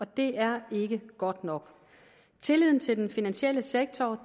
det er ikke godt nok tilliden til den finansielle sektor